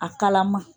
A kalama